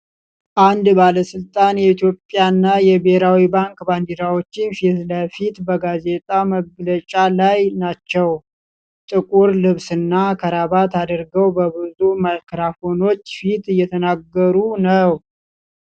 አንድ ባለሥልጣን የኢትዮጵያና የብሔራዊ ባንክ ባንዲራዎች ፊት ለፊት በጋዜጣዊ መግለጫ ላይ ናቸው። ጥቁር ልብስና ክራባት አድርገው በብዙ ማይክሮፎኖች ፊት እየተናገሩ ነው።